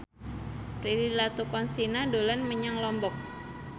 Prilly Latuconsina dolan menyang Lombok